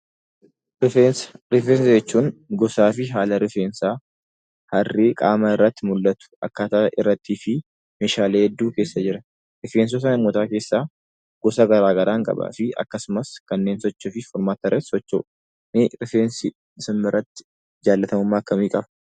Rifeensa jechuun gosaa fi haala rifeensaa, harrii qaama irratti mul'atu , akkaataa irratti fi meeshaalee hedduu keessa jiran. Rifeensota uummataa keessaa gosa garaa garaa kan qabanii fi akkasumas kanneen sochiif furmaata irratti socho'u. Mee rifeensi isin biratti jaalatamummaa akkamii qaba?